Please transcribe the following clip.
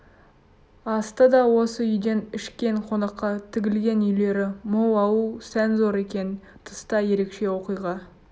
асты да осы үйден ішкен қонаққа тігілген үйлері мол ауыл сән зор екен тыста ерекше оқиға